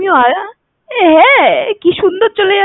হ্যাঁ কি সুন্দর